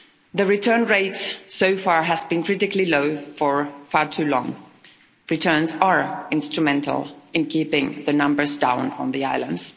The return rate so far has been critically low for far too long. Returns are instrumental in keeping the numbers down on the islands.